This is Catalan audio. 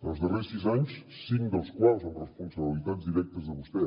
en els darrers sis anys cinc dels quals amb responsabilitats directes de vostè